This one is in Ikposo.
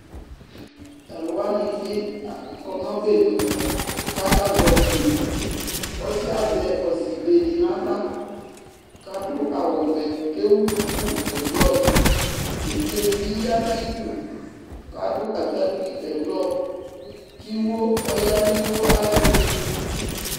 Tʋ alʋ wanɩ bɩ a kɔ nʋ ɔbɛnu kʋ akazɛ ɔsɩ Ɔsɩ yɛ azɛ ɔsɩbe dɩ nʋ aɣla kʋ adʋ awʋvɛ kʋ ewu duku ɛblɔ Evidze dɩ bɩ ya nʋ ayidu kʋ adʋ atakpui ɛblɔ kʋ iwo, ɔya nʋ iwo ayɛtʋ